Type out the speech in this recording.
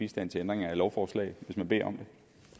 bistand til ændring af lovforslag hvis man beder